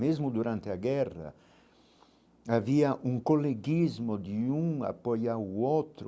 Mesmo durante a guerra, havia um coleguismo de um apoiar o outro.